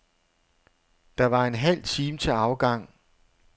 Der var en halv time til afgang.